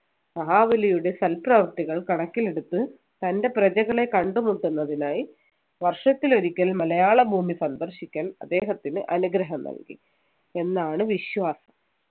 മഹാബലിയുടെ സൽപ്രവർത്തികൾ കണക്കിലെടുത്ത് തൻ്റെ പ്രജകളെ കണ്ടുമുട്ടുന്നതിനായി വർഷത്തിലൊരിക്കൽ മലയാളഭൂമി സന്ദർശിക്കാൻ അദ്ദേഹത്തിന് അനുഗ്രഹം നൽകി എന്നാണ് വിശ്വാസം